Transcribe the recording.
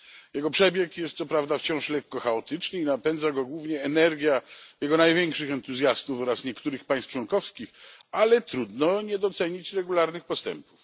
Jego przebieg jest co prawda wciąż lekko chaotyczny i napędza go głównie energia jego największych entuzjastów oraz niektórych państw członkowskich, ale trudno nie docenić regularnych postępów.